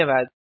धन्यवाद